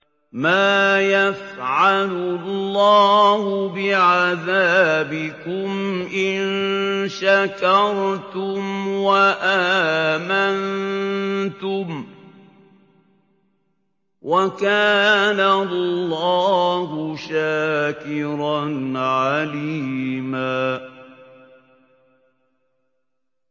مَّا يَفْعَلُ اللَّهُ بِعَذَابِكُمْ إِن شَكَرْتُمْ وَآمَنتُمْ ۚ وَكَانَ اللَّهُ شَاكِرًا عَلِيمًا